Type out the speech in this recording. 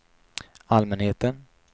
allmänheten